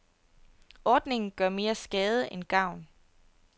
Ordningen gør mere skade end gavn.